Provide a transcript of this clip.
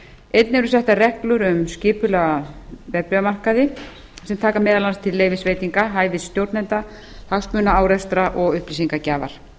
einnig eru settar reglur um skipulega verðbréfamarkaði sem taka meðal annars til leyfisveitinga hæfi stjórnenda hagsmunaárekstra og upplýsingagjafar